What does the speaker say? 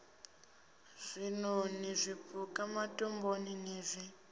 zwiṋoni zwipuka matombo n z